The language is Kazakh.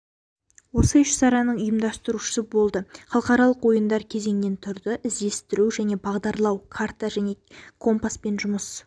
осы іс-шараның ұйымдастырушысы болды халықаралық ойындар кезеңнен тұрды іздестіру және бағдарлау карта және компаспен жұмыс